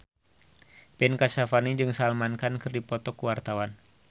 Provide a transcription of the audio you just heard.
Ben Kasyafani jeung Salman Khan keur dipoto ku wartawan